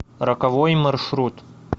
роковой маршрут